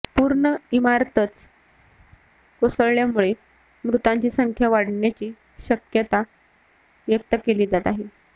पूर्ण इमारतच कोसळल्यामुळे मृतांची संख्या वाढण्याची शक्यता व्यक्त केली जात आहे